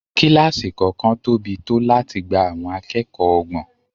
Kílásì kọ̀ọ̀kan tóbi tó láti gba àwọn akẹ́kọ̀ọ́ ọgbọ̀n